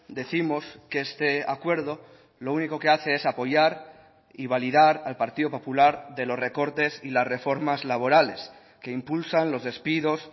décimos que este acuerdo lo único que hace es apoyar y validar al partido popular de los recortes y las reformas laborales que impulsan los despidos